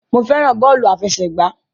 Mo fẹ́ràn bọ́ọ̀lù àfẹsẹ̀gbá.